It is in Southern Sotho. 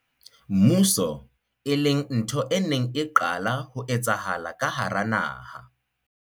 mmuso, e leng ntho e neng e qala ho etsahala ka hara naha.